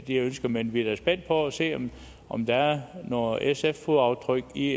de ønsker men vi er da spændte på at se om der er nogle sf fodaftryk i